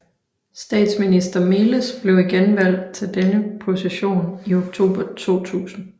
Statsminister Meles blev igen valgt til denne position i oktober 2000